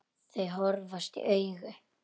Þau horfast í augu.